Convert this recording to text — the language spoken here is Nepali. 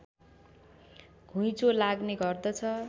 घुइँचो लाग्ने गर्दछ